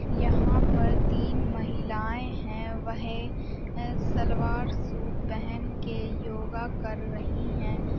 यहाँ पर तीन महिलाएं हैं वह सलवार सूट पहन के योग कर रही हैं।